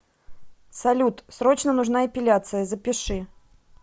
салют срочно нужна эпиляция запиши